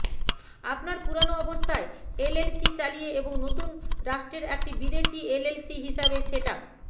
আপনার পুরানো অবস্থায় এলএলসি চালিয়ে এবং নতুন রাষ্ট্রের একটি বিদেশী এলএলসি হিসাবে সেট আপ